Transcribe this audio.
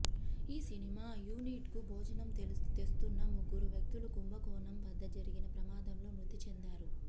ఈ cinema unit కు భోజనం తెస్తున్న ముగ్గురు వ్యక్తులు కుంభకోణం వద్ద జరిగిన ప్రమాదంలో మృతి చెందారు